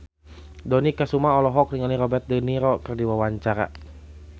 Dony Kesuma olohok ningali Robert de Niro keur diwawancara